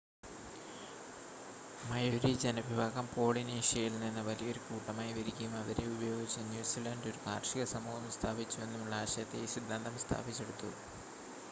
Maori ജനവിഭാഗം പോളിനേഷ്യയിൽനിന്ന് വലിയൊരു കൂട്ടമായി വരികയും അവരെ ഉപയോഗിച്ച് ന്യൂസിലണ്ട് ഒരു കാർഷിക സമൂഹം സ്ഥാപിച്ചുവെന്നുമുള്ള ആശയത്തെ ഈ സിദ്ധാന്തം സ്ഥാപിച്ചെടുത്തു